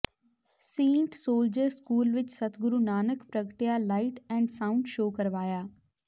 Saint soldier school ਵਿੱਚ ਸਤਿਗੁਰੂ ਨਾਨਕ ਪ੍ਰਗਟਿਆ light and sound show ਕਰਵਾਇਆ